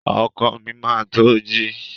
Ọkọ mi máa to ji.